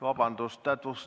Vabandust!